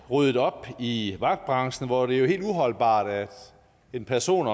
ryddet op i vagtbranchen hvor det jo er helt uholdbart at en person